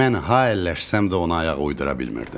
Mən ha əlləşsəm də ona ayaq uydura bilmirdim.